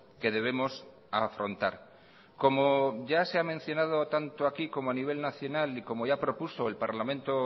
que debemos afrontar como ya se ha comentado tanto aquí y como a nivel nacional y como ya propuso el parlamento